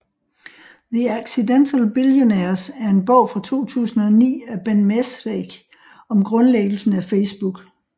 The Accidental Billionaires er en bog fra 2009 af Ben Mezrich om grundlæggelsen af Facebook